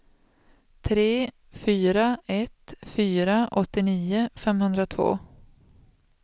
tre fyra ett fyra åttionio femhundratvå